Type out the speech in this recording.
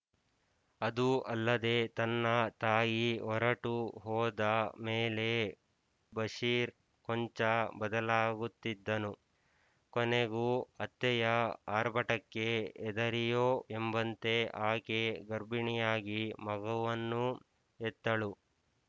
ಅದೂ ಅಲ್ಲದೆ ತನ್ನ ತಾಯಿ ಹೊರಟು ಹೋದ ಮೇಲೆ ಬಷೀರ್ ಕೊಂಚ ಬದಲಾಗುತ್ತಿದ್ದನು ಕೊನೆಗೂ ಅತ್ತೆಯ ಆರ್ಭಟಕ್ಕೆ ಹೆದರಿಯೊ ಎಂಬಂತೆ ಆಕೆ ಗರ್ಭಿಣಿಯಾಗಿ ಮಗುವನ್ನೂ ಹೆತ್ತಳು